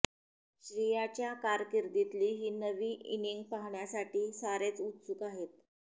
श्रियाच्या कारकिर्दीतली ही नवी इनिंग पाहण्यासाठी सारेच उत्सुक आहेत